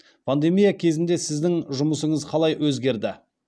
пандемия кезінде сіздің жұмысыңыз қалай өзгерді